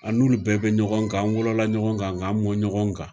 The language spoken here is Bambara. An n'olu bɛɛ be ɲɔgɔn kan an wolola ɲɔgɔn kan k'an mɔn ɲɔgɔn kan